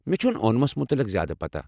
مےٚ چھَنہٕ اونمَس متعلِق زیادٕ پتہ۔